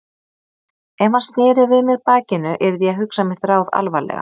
Ef hann sneri við mér bakinu yrði ég að hugsa mitt ráð alvarlega.